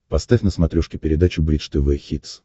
поставь на смотрешке передачу бридж тв хитс